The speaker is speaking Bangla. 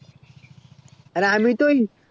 আরে আমি তো ওই